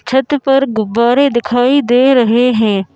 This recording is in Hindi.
छत पर गुब्बारे दिखाई दे रहे हैं।